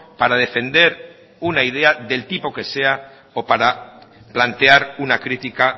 para defender una idea del tipo que sea o para plantear una crítica